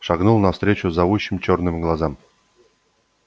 шагнул навстречу зовущим чёрным глазам